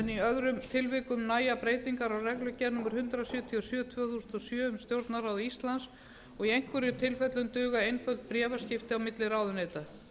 í öðrum tilvikum nægja breytingar á reglugerð númer hundrað sjötíu og sjö tvö þúsund og sjö um stjórnarráð íslands og í einhverjum tilfellum duga einföld bréfaskipti á milli ráðuneyta